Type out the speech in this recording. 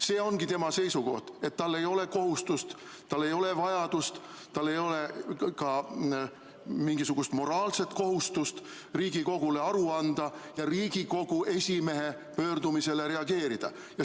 See ongi tema seisukoht, et tal ei ole kohustust, tal ei ole vajadust, tal ei ole ka mingisugust moraalset kohustust Riigikogule aru anda ja Riigikogu esimehe pöördumisele reageerida.